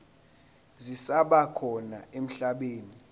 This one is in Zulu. zisaba khona emhlabeni